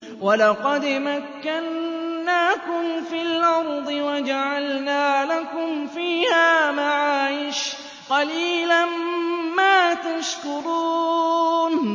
وَلَقَدْ مَكَّنَّاكُمْ فِي الْأَرْضِ وَجَعَلْنَا لَكُمْ فِيهَا مَعَايِشَ ۗ قَلِيلًا مَّا تَشْكُرُونَ